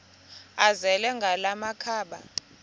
azele ngala makhaba